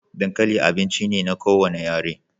Dankali abinci ne na kowane yare